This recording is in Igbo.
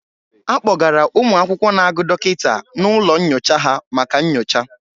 A kpọgara ụmụ akwụkwọ na-agụ dọkịta n'ụlọ nyocha ha maka nyocha.